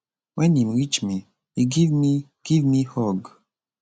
wen im reach me e give me give me hug